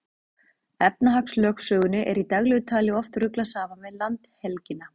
Efnahagslögsögunni er í daglegu tali oft ruglað saman við landhelgina.